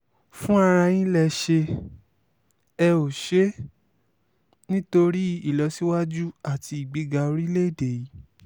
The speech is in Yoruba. fúnra ara yín lè ṣe é e ó ṣe é nítorí ìlọsíwájú àti ìgbéga orílẹ̀-èdè yìí